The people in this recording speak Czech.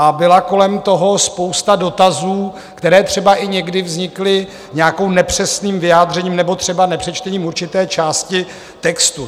A byla kolem toho spousta dotazů, které třeba i někdy vznikly nějakým nepřesným vyjádřením nebo třeba nepřečtením určité části textu.